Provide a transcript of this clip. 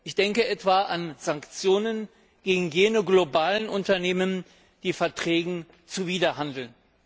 Ich denke etwa an Sanktionen gegen jene globalen Unternehmen, die Verträgen zuwiderhandeln.